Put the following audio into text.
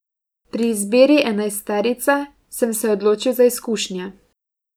Pri izbiri enajsterice sem se odločil za izkušnje.